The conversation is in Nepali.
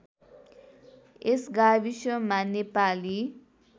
यस गाविसमा नेपाली